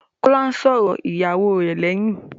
Kọ́lá sọ̀rọ̀ ìyàwó rẹ̀ lẹ́yìn.